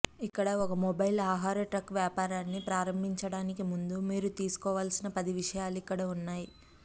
ఇక్కడ ఒక మొబైల్ ఆహార ట్రక్ వ్యాపారాన్ని ప్రారంభించడానికి ముందు మీరు తెలుసుకోవలసిన పది విషయాలు ఇక్కడ ఉన్నాయి